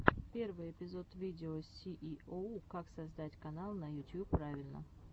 первый эпизод видео сииоу как создать канал на ютьюб правильно